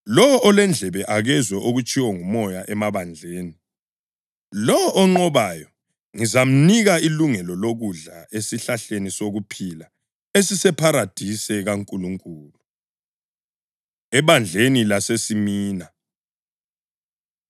Lowo olendlebe, akezwe okutshiwo nguMoya emabandleni. Lowo onqobayo ngizamnika ilungelo lokudla esihlahleni sokuphila esisepharadise kaNkulunkulu.” Ebandleni LaseSimina